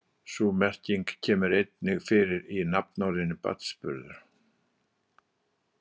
Sú merking kemur einnig fyrir í nafnorðinu barnsburður.